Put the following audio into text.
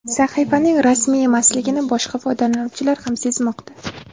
Sahifaning rasmiy emasligini boshqa foydalanuvchilar ham sezmoqda.